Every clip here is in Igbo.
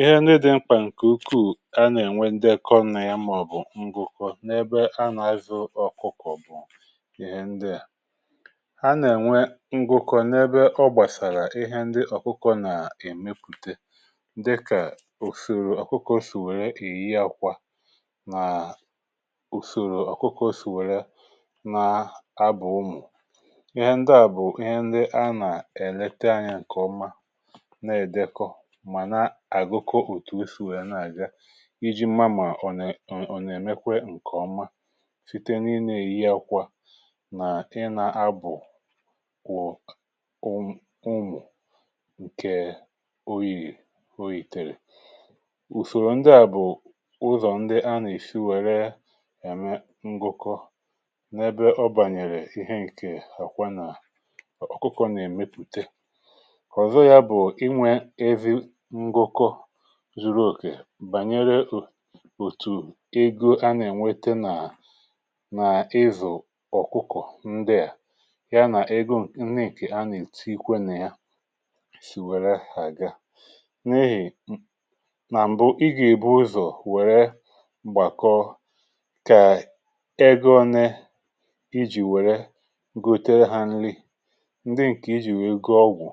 Ihe ndị dị̇ mkpà ǹkè ukwuù a nà-ènwe ndekọ na ya mà ọbụ̀ ngụkọ n’ebe anà-azụ ọ̀kụkọ̀ bụ̀ ihe ndị à, a nà-ènwe ngụkọ̇ n’ebe ọ gbàsàrà ihe ndị ọ̀kụkọ̇ nà-èmepùte dịkà ùsòrò ọ̀kụkọ̇ sì wèrè eyi àkwà nàà ùsòrò ọ̀kụkọ̇ sì wèrè naa abụ̀ ụmụ̀ ihe ndị à bụ̀ ihe ndị a nà-èlete anyȧ ǹkè ọma na-èdekọ mana agụkọ ọtu ọ sị wee na-aga iji̇ màmá ọ̀nè ọ̀ nà-èmekwa ǹkè ọma site na íɲa èyi akwa nà ị na-abụ̀ kwụ̀um ụmụ̀ ǹkè oyìrì oyìtèrè, ùsòrò ndị à bụ̀ ụzọ̀ ndị a nà-esi wère ème ngụkọ n’ebe ọ bànyèrè ihe ǹké akwa nà ọ̀kụkọ nà-èmepùte. Ọzo ya bú enwe ezi ngụkọ zùrù òkè bànyere òtù ego a nà-ènwete nà nà-ịzụ̀ ọ̀kụkọ̀ ndị à ya nà ego nneè nke a nà-ètikwe na yȧ sì wère àga n’ihì nà m̀bụ i gà-èbu ụzọ̀ wère mgbàkọ kà ego ọne ijì wère gotere ha nri, ndị ǹkè ijì wèe go ọgwụ,̀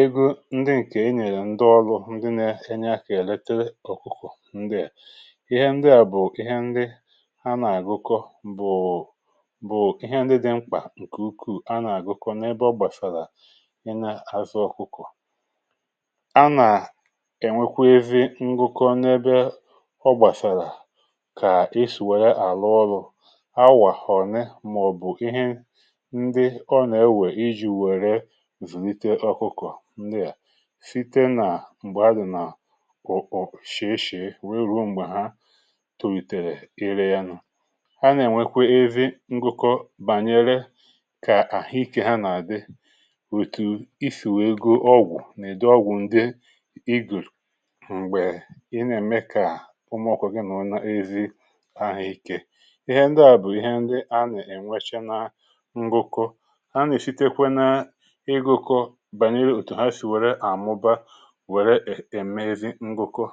ego ndị ǹkè e nyèrè ndị ọrụ ndị na-enye aka eletere ọkụkọ ndị a, ihe ndị à bụ̀ ihe ndị ha nà-àgụkọ bụ̀bụ̀ ihe ndị dị̇ mkpà ǹkè ukwuù a nà-àgụkọ n’ebe ọ gbàsàrà ị nȧ-azụ ọkụkọ.̀ A nà-ènwekwa ezi ǹgụkọ̀ n’ebe ọ gbàsàrà kà e sì wère àlụ ọlụ awà ọnè màọ̀bụ̀ ihe ndị ọ nà-ewè iji̇ wère zùnite ọkụkọ̀ ndị à site na mgbe ọ dị na ọ ọ shí shí weruo m̀gbè ha tolitèrè irė ya nụ. Ha nà-ènwekwe ezi ngụkọ bànyere kà àhụikė ha nà-àdị òtù isì wee go ọgwụ̀ nà-udi ọgwụ̀ ndị ịgụrò m̀gbè ị nà-ème kà umùọkụkọ̇gị nọrọ̀ n’ezi ahụ̀ ike, ihe ndị à bụ̀ ihe ndị a nà-ènwecha na ngụkọ ha nà-èsitekwe na-igụkọ bànyere òtù ha si wère àmụba wéré eme ezi ngụkọ.